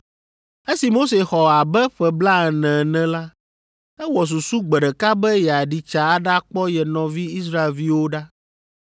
“Esi Mose xɔ abe ƒe blaene ene la, ewɔ susu gbe ɖeka be yeaɖi tsa aɖakpɔ ye nɔvi Israelviwo ɖa.